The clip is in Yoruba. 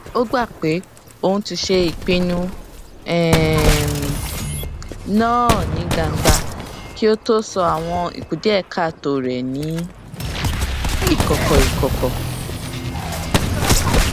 ó gbà pé òun ti ṣe ìpinnu um náà ní gbangba kí ó tó sọ àwọn ìkùdíẹkáàtó rẹ ní ìkọkọ ìkọkọ